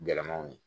Gɛlɛmanw ye